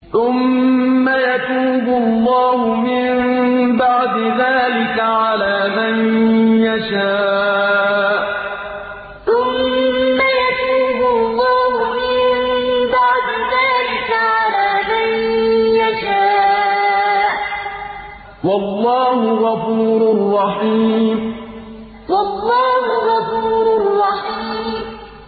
ثُمَّ يَتُوبُ اللَّهُ مِن بَعْدِ ذَٰلِكَ عَلَىٰ مَن يَشَاءُ ۗ وَاللَّهُ غَفُورٌ رَّحِيمٌ ثُمَّ يَتُوبُ اللَّهُ مِن بَعْدِ ذَٰلِكَ عَلَىٰ مَن يَشَاءُ ۗ وَاللَّهُ غَفُورٌ رَّحِيمٌ